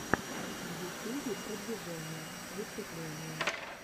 в ютубе продвижение выступление